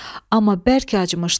Amma bərk acımışdı.